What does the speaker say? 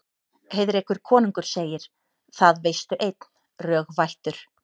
Heiðrekur konungur segir: Það veistu einn, rög vættur